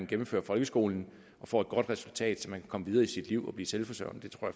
gennemfører folkeskolen får et godt resultat så man kan komme videre i sit liv og blive selvforsørgende det tror